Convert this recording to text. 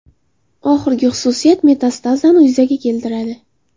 Oxirgi xususiyat metastazani yuzaga keltiradi.